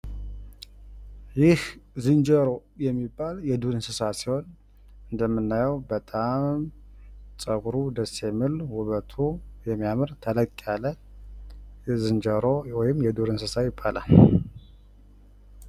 ይህ ዝንጀሮ የሚባል የዱር እንስሳ ሲሆን እንደምናየው በጣም ጸጉሩ ደስ የሚል ውበቱ የሚያምር ተለቅ ያለ የዝንጀሮ ወይም የዱር እንስሳ ይባላል።